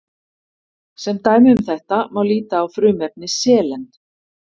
sem dæmi um þetta má líta á frumefni selen